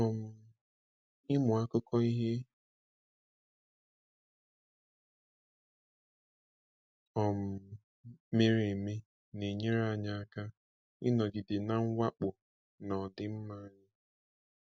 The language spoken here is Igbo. um Ịmụ akụkọ ihe um mere eme na-enyere anyị aka ịnọgide na mwakpo na ọdịmma anyị.